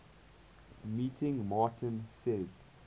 meeting martin says